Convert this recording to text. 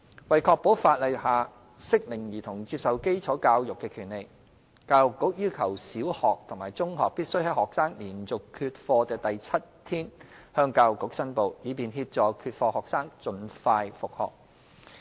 為確保法例下適齡兒童接受基礎教育的權利，教育局要求小學及中學必須在學生連續缺課的第七天，向教育局申報，以便協助缺課學生盡快復學。